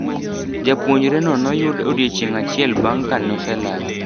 Japuonjre no noyud odiochieng achiel bang ka noselal.